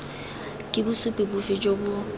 ke bosupi bofe jo bo